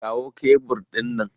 Kawo kebur ɗin nan!